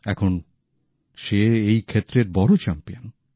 এখন সে এই ক্ষেত্রের বড় চ্যাম্পিয়ন